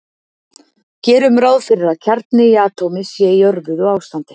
Gerum ráð fyrir að kjarni í atómi sé í örvuðu ástandi.